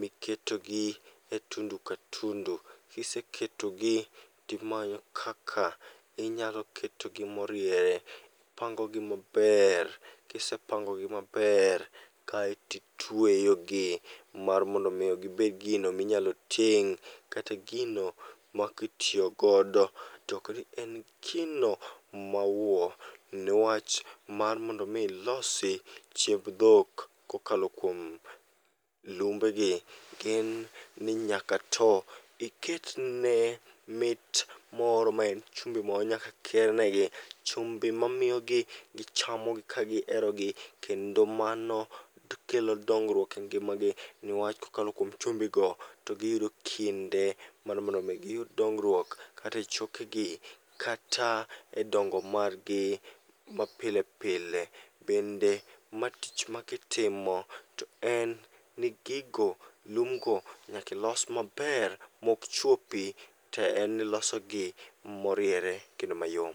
miketogi e tundu ka tundu, kiseketogi timanyo kaka inyalo ketogi moriere. Ipango gi maber, kisepango gi maber kaetitweyogi mar mondo mi gibed gino minyalo ting'. Kata gino ma kitiyogodo tokni en gino mawuo, niwach mar mondo mi ilosi chiemb dhok kokalo kuom lumbe gi. Gin ni nyaka to iket ne mit moro maen chumbi moro nyakakier negi, chumbi ma miyo gichamogi ka giherogi. Kendo mano kelo dongruok e ngima gi, niwach kokalo kuom chumbi go, to giyudo kinde mar mondo mi giyud dongruok. Kata e choke gi, kata e dongo margi mapile pile. Bende ma tich ma kitimo, to en ni gigo, lum go, nyakilos maber mok chuopi. To en nilosogi moriere kendo mayom.